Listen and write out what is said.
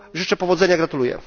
Życzę powodzenia i gratuluję.